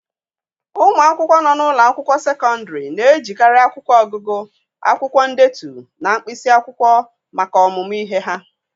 Ụmụ akwụkwọ nọ n'ụlọ akwụkwọ sekọndịrị na-ejikarị akwụkwọ ọgụgụ, akwụkwọ ndetu, na mkpịsị akwụkwọ maka ọmụmụ ihe ha.